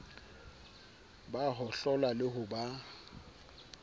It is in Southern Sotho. ba hohlola le ho ba